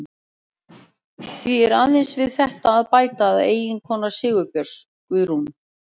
Því er aðeins við þetta að bæta að eiginkona Sigurbjörns, Guðrún